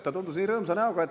Ta tundus olevat rõõmsa näoga.